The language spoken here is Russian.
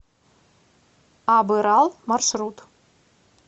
абырал маршрут